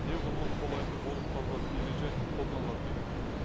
неғұрлым қолайлы болып табылатын ереже қолданылады деген